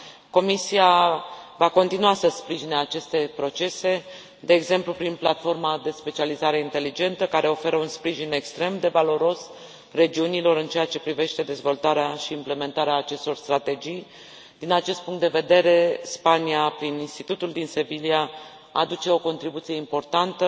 Comisia va continua să sprijine aceste procese, de exemplu, prin platforma de specializare inteligentă care oferă un sprijin extrem de valoros regiunilor în ceea ce privește dezvoltarea și implementarea acestor strategii. Din acest punct de vedere Spania, prin institutul din Sevilia, aduce o contribuție importantă